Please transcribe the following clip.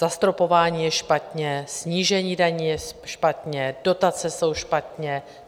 Zastropování je špatně, snížení daní je špatně, dotace jsou špatně.